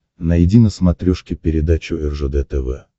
найди на смотрешке передачу ржд тв